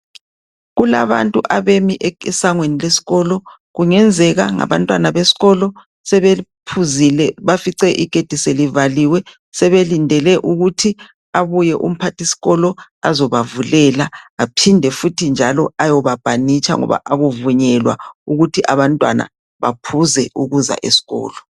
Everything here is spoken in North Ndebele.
Kulabantu abemi esangweni lesikolo ,kungenzeka ngabantwana beskolo .Sebephuzile, bafice igedi selivaliwe sebelindele ukuthi abuye umphathiskolo .Azobavulela Aphinde njalo ayobaphanitsha ngoba akuvunyelwa ukuthi abantwana baphuze eskolo.